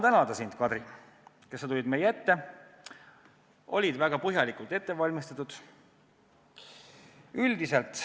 Tahan sind tänada, et sa tulid meie ette, olles väga põhjalikult ette valmistatud.